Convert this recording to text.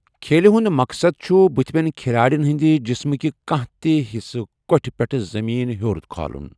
کھیلہِ ہُنٛد مقصد چھُ بُتھِمٮ۪ن کھِلاڑین ہٕنٛدِ جسمکہِ کانٛہہ تہِ حِصہٕ کۅٹھِ پٮ۪ٹھ زمین ہیوٚر کھالُن۔